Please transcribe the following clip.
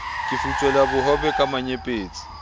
ke futswela bohobe ka menyepetsi